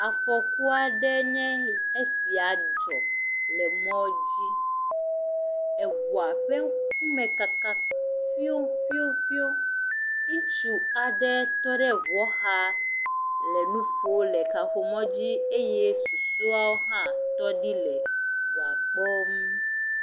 Afɔku aɖe nye esia dzɔ le mɔ dzi, eŋua ƒe ŋkume kaka ƒioƒioƒio. Ŋutsu aɖe tɔ ɖe ŋuɔ xa le nu ƒom le kaƒomɔ dzi eye susɔeawo hã tɔ ɖi le ŋua kpɔm.